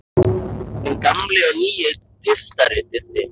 Þinn gamli og nýi tyftari, Diddi.